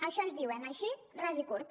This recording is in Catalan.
això ens diuen així ras i curt